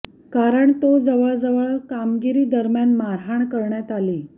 कारण तो जवळजवळ कामगिरी दरम्यान मारहाण करण्यात आली